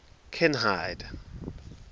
kinhide